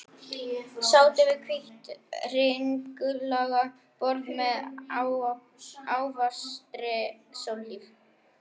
Sátu við hvítt, hringlaga borð með áfastri sólhlíf.